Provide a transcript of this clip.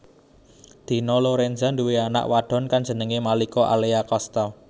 Dina Lorenza nduwé anak wadon kang jenengé Malika Alea Casta